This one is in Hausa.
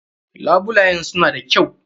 Labulayen su na da kyau.